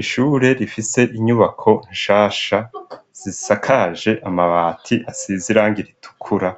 Ishure rifite inyubako nshasha zisakaje amabati asize irangi ritukura,